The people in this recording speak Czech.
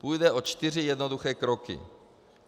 Půjde o čtyři jednoduché kroky.